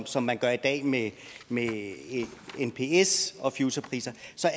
som man gør i dag med nps og futurepriser